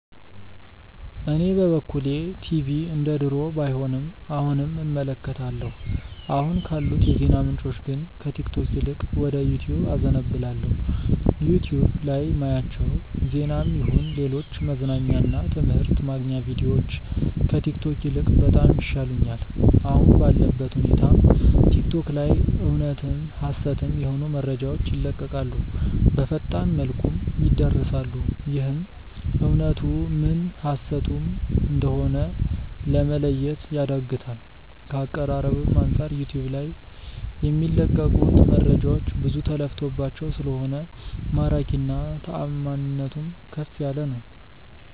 እኔ በበኩሌ ቲቪ እንደድሮው ባይሆንም አሁንም እመለከታለሁ። አሁን ካሉት የዜና ምንጮች ግን ከቲክቶክ ይልቅ ወደ ዩቲዩብ አዘነብላለው። ዩቲዩብ ላይ ማያቸው ዜናም ይሁን ሌሎች መዝናኛ እና ትምህርት ማግኛ ቪድዮዎች ከቲክቶክ ይልቅ በጣም ይሻሉኛል። አሁን ባለበት ሁኔታ ቲክቶክ ላይ እውነትም ሀሰትም የሆኑ መረጃዎች ይለቀቃሉ፣ በፈጣን መልኩም ይዳረሳሉ፤ ይህም እውነቱ ምን ሀሰቱ ም እንደሆነ ለመለየት ያዳግታል። ከአቀራረብም አንጻር ዩቲዩብ ልይ የሚለቀቁት መረጃዎች ብዙ ተለፍቶባቸው ስለሆነ ማራኪና ታማኒነቱም ከፍ ያለ ነው።